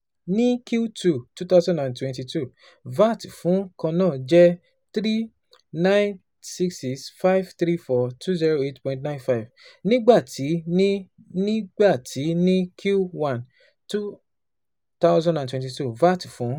Ni Q two twenty twenty two, VAT fun kanna jẹ N three billion nine hundred sixty six million five hundred thirty four thousand two hundred eight point nine five, nigba ti ni nigba ti ni Q one twenty twenty two, VAT fun